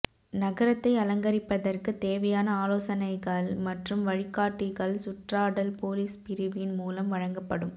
நகரத்தை அலங்கரிப்பதற்கு தேவையான ஆலோசனைகள் மற்றும் வழிகாட்டிகள் சுற்றாடல் பொலிஸ் பிரிவின் மூலம் வழங்கப்படும்